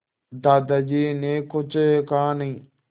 दादाजी ने कुछ कहा नहीं